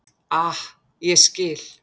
Ah, ég skil.